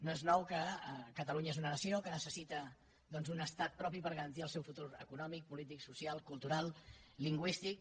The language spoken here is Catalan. no és nou que catalunya és una nació que necessita doncs un estat propi per garantir el seu futur econòmic polític social cultural lingüístic